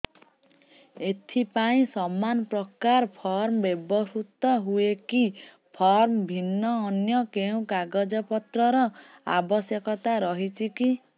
ଏଥିପାଇଁ ସମାନପ୍ରକାର ଫର୍ମ ବ୍ୟବହୃତ ହୂଏକି ଫର୍ମ ଭିନ୍ନ ଅନ୍ୟ କେଉଁ କାଗଜପତ୍ରର ଆବଶ୍ୟକତା ରହିଛିକି